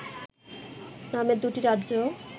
নামে দুটি রাজ্য